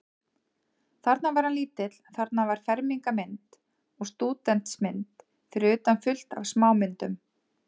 Þarna var hann lítill, þarna var fermingarmynd og stúdentsmynd, fyrir utan fullt af smámyndum.